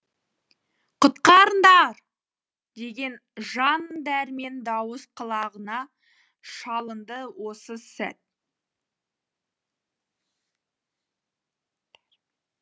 құтқарыңдар деген жан дәрмен дауыс құлағына шалынды осы сәт